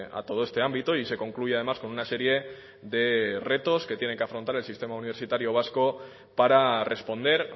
a todo este ámbito y se concluye además con una serie de retos que tiene que afrontar el sistema universitario vasco para responder